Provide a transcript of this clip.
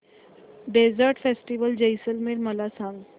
desert festival Jaisalmer मला सांग